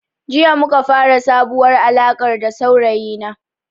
Jiya muka fara sabuwar alarka da saurayi na